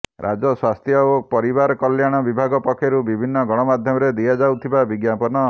ରାଜ୍ୟ ସ୍ୱାସ୍ଥ୍ୟ ଓ ପରିବାର କଲ୍ୟାଣ ବିଭାଗ ପକ୍ଷରୁ ବିଭିନ୍ନ ଗଣମାଧ୍ୟମରେ ଦିଆଯାଇଥିବା ବିଜ୍ଞାପନ